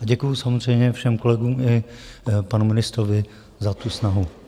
A děkuji samozřejmě všem kolegům i panu ministrovi za tu snahu.